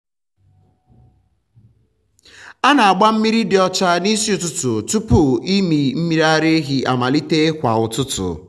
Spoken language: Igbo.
ana m agba mmiri dị ọcha n’isi ụtụtụ tupu ịmị mmiri ara ehi amalite kwa ụtụtụ.